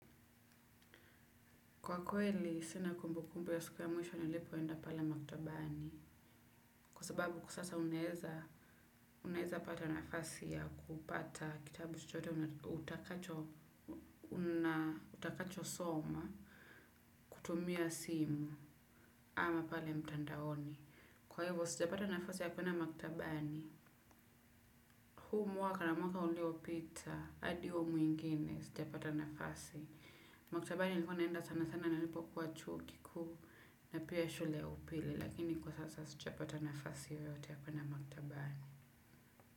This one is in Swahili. Kwa kweli, sina kumbu kumbu ya siku ya mwisho nilipoenda pale maktabani. Kwa sababu kwa sasa unaeza pata nafasi ya kupata kitabu chochote utakacho soma kutumia simu ama pale mtandaoni. Kwa hivi sijapata nafasi ya kwenda maktabani. Huu mwaka na mwaka uliopita, hadi huo mwingine sijapata nafasi. Maktabani nilikuwa naenda sana sana nilipokuwa chuo kikuu na pia shule ya upili. Lakini kwa sasa sijapata nafasi yeyote ya kwenda maktabani.